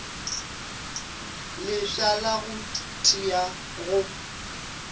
lefša la go tia go